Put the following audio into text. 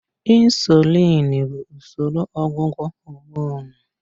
Insulin bụ usoro ọgwụgwọ homonụ.